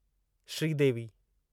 Sridevi